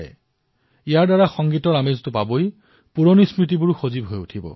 ইয়াৰ দ্বাৰা সংগীতৰ আনন্দৰ সৈতে পুৰণি স্মৃতিও সজীৱ হৈ উঠিব